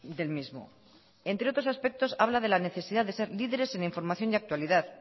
del mismo entre otros aspectos habla de la necesidad de ser líderes en información y actualidad